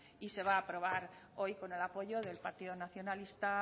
y se va aprobar hoy con el apoyo del partido nacionalista